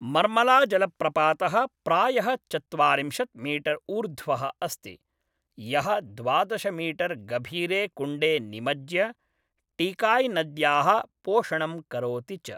मर्मलाजलप्रपातः प्रायः चत्वारिंशत् मीटर् ऊर्ध्वः अस्ति, यः द्वादश मीटर् गभीरे कुण्डे निमज्ज्य, टीकाय्नद्याः पोषणं करोति च।